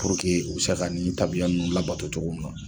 Puruke u be se ka nin tabiya nunnu labato togo mun na